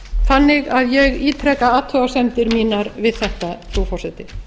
þannig að ég ítreka athugasemdir mínar við þetta frú forseti